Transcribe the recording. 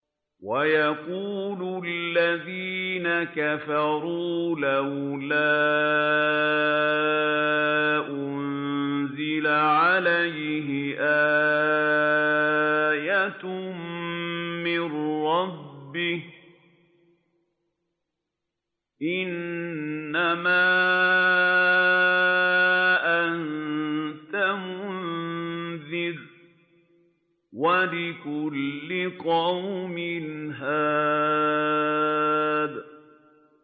وَيَقُولُ الَّذِينَ كَفَرُوا لَوْلَا أُنزِلَ عَلَيْهِ آيَةٌ مِّن رَّبِّهِ ۗ إِنَّمَا أَنتَ مُنذِرٌ ۖ وَلِكُلِّ قَوْمٍ هَادٍ